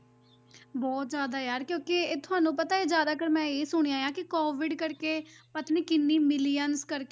ਬਹੁਤ ਜ਼ਿਆਦਾ ਯਾਰ ਕਿਉਂਕਿ ਇਹ ਤੁਹਾਨੂੰ ਪਤਾ ਹੈ ਜ਼ਿਆਦਾਤਰ ਮੈਂ ਇਹ ਸੁਣਿਆ ਹੈ ਕਿ COVID ਕਰਕੇ ਪਤਾ ਨੀ ਕਿੰਨੀ millions ਕਰਕੇ